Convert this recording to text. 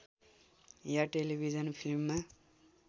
या television फिल्ममा